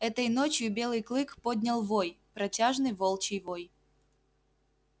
этой ночью белый клык поднял вой протяжный волчий вой